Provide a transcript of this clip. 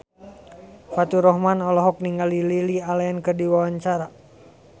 Faturrahman olohok ningali Lily Allen keur diwawancara